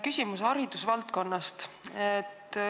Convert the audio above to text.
Küsimus haridusvaldkonnast.